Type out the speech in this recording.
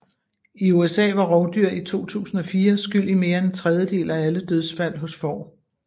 I USA var rovdyr i 2004 skyld i mere end en tredjedel af alle dødsfald hos får